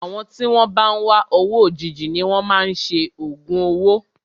Àwọn tí wọn bá ń wá owó òjijì ni wọn máa ń ṣe ògùn owó.